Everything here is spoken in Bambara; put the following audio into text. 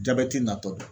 Jabɛti natɔ